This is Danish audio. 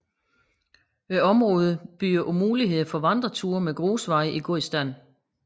Området byder på muligheder for vandreture med grusveje i god stand